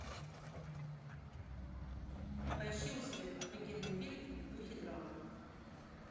поищи у себя офигенный фильм в духе драмы